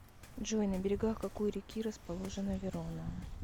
джой на берегах какой реки расположена верона